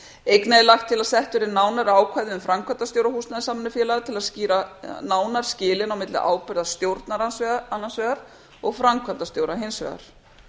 einnig er lagt til að sett verði nánari ákvæði um framkvæmdastjóra húsnæðissamvinnufélaga til að skýra nánar skilin á milli ábyrgðar stjórnar annars vegar og framkvæmdastjóra hins vegar